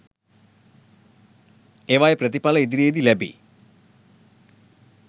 ඒවායේ ප්‍රතිඵල ඉදිරියේදී ලැබි